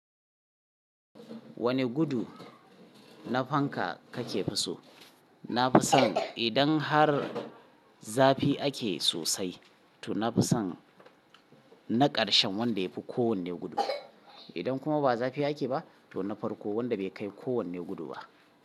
Wane gudu na fanka kake so? Na fi son idan har zafi ake sosai, to na fi son mai gudu sosai idan har zafi ake. Na ƙarshen wanda ya fi kowane gudu. Idan kuma ba zafi ake ba, to na farko wanda bai kai kowane gudu ba.